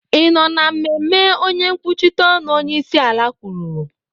ị nọ na mmemme onye nkwuchite ọnụ onyeisiala kwuru?